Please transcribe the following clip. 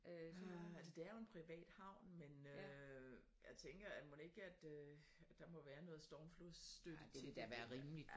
Hm altså det er jo en privat havn men øh jeg tænker at mon ikke at øh at der må være noget stormflodsstøtte til dem